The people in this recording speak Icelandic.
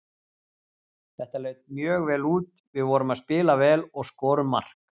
Þetta leit mjög vel út, við vorum að spila vel og skorum mark.